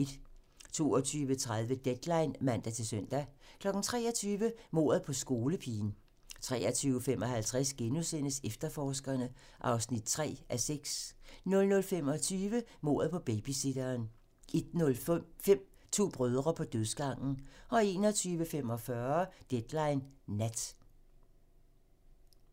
22:30: Deadline (man-søn) 23:00: Mordet på skolepigen (man) 23:55: Efterforskerne (3:6)* 00:25: Mordet på babysitteren 01:05: To brødre på dødsgangen 01:45: Deadline Nat (man)